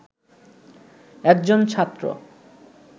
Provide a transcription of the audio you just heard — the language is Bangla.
একজন ছাত্র